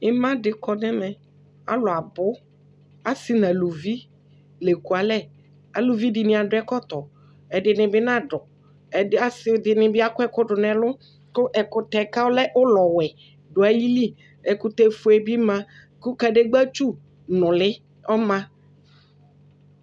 Ɩma dɩ kɔ nʋ ɛmɛ Alʋ abʋ, asɩ nʋ aluvi la ekualɛ Aluvi dɩnɩ adʋ ɛkɔtɔ, ɛdɩnɩ bɩ nadʋ, ɛdɩ asʋɩ ɛdɩnɩ bɩ akɔ ɛkʋ dʋ nʋ ɛlʋ kʋ ɛkʋtɛ kʋ ɔlɛ ʋlɔwɛ dʋ ayili, ɛkʋtɛfue bɩ ma kʋ kadegbǝtsu nʋlɩ bɩ ɔma